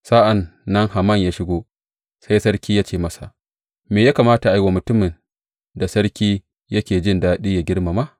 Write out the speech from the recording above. Sa’an nan Haman ya shigo, sai sarki ya ce masa, Me ya kamata a yi wa mutumin da sarki yake jin daɗi yă girmama?